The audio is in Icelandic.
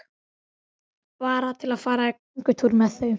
Bara til að fara í göngutúr með þau.